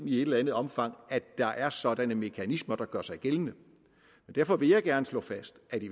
i et eller andet omfang at der er sådanne mekanismer der gør sig gældende derfor vil jeg gerne slå fast at vi